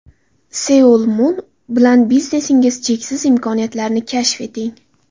Seoul Mun bilan biznesingiz cheksiz imkoniyatlarini kashf eting!